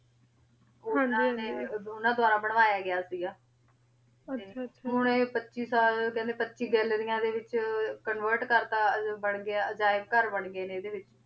ਹਾਂਜੀ ਹਾਂਜੀ ਓਨਾਂ ਦਵਾਰਾ ਬਨਵਾਯਾ ਗਯਾ ਸੀ ਗਾ ਆਹ ਆਹ ਟੀ ਹਨ ਆਯ ਪਚਿ ਸਾਲ ਕੇਹੰਡੀ ਪਚਿ ਗਾਲ੍ਲੇਰਿਯਾਂ ਦੇ ਵਿਚ convert ਅਜੀਬ ਘਰ ਬਣ ਗਾਯ ਨੇ ਏਡੇ ਵਿਚ